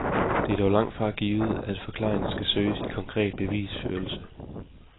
Det er dog langtfra givet, at forklaringen skal søges i konkret bevisførelse.